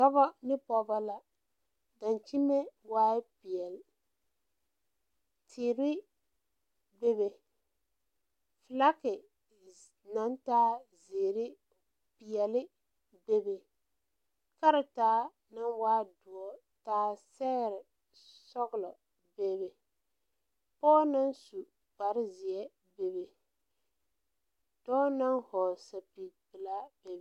Dɔbɔ ne pɔɔbɔ la dankyime waae peɛɛl teere bebe flake naŋ taa zeere peɛɛle bebe karetaa naŋ waa soɔ taa sɛgre sɔglɔ beebe pɔɔ naŋ su kparezeɛ bebe dɔɔ naŋ hɔɔle sɛpige pilaa bebe.